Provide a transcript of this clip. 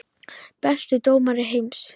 Besti dómari heims?